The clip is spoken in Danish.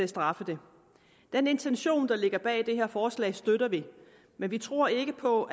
straffe det den intention der ligger bag det her forslag støtter vi men vi tror ikke på